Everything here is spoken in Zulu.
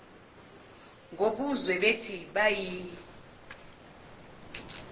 ngobuzwe bethi bayi